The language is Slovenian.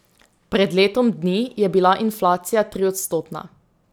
Pred letom dni je bila inflacija triodstotna.